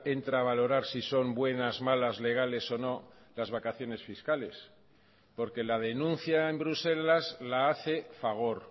entra a valorar si son buenas malas legales o no las vacaciones fiscales porque la denuncia en bruselas la hace fagor